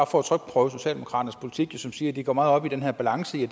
for at trykprøve socialdemokraternes politik som siger at de går meget op i den her balance i